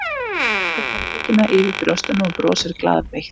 Krossleggur handleggina yfir brjóstunum og brosir glaðbeitt.